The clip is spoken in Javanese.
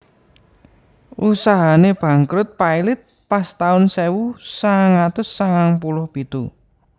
Usahane bangkrut pailit pas taun sewu sangang atus sangang puluh pitu